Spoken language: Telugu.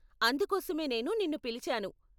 అందుకోసమే నేను నిన్ను పిలిచాను.